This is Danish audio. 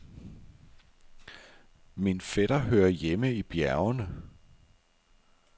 Min fætter hører hjemme i bjergene.